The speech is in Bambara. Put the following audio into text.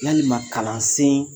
Yalima kalansen